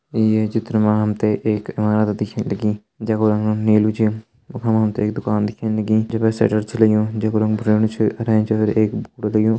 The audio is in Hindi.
ये चित्र मा हम तें एक इमारत दिखेण लगीं नीलू च वखम हम तें एक दुकान दिखेण लगीं जे पर शटर छ लग्युं जे पर भूर्येणु च अर एंच एक ।